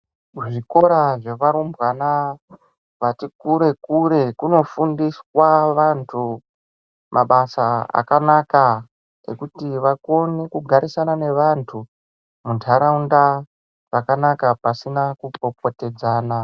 Kuzvikora zvevarumbwana vati kure kure kunofundiswa vanthu mabasa akanaka ekuti vakone kugarisana nevanthu muntharaunda zvakanaka pasina kupopotedzana.